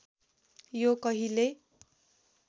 यो कहिल्यै